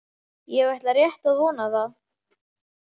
Ég ætla rétt að vona það.